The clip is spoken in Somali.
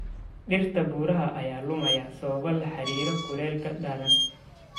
Dhirta buuraha ayaa lumaya sababo la xiriira kuleylka daran.